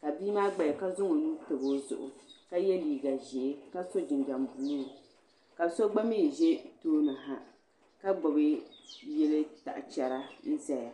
ka bia maa gbaya ka zaŋ o nuu tabi o zuɣu ka ye liiga ʒee ka sɔ jinjam buluu ka sɔ gba mi ʒe tooni ha ka gbubi yili pikicha n-ʒeya.